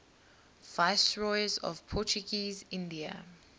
viceroys of portuguese india